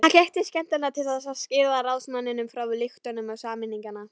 Hann gekk til skemmunnar til þess að skýra ráðsmanninum frá lyktum samninganna.